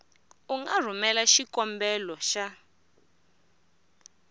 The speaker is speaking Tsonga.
u nga rhumelela xikombelo xa